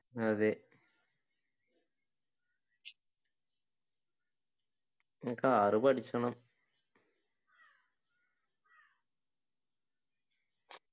അതെ car പഠിക്കണം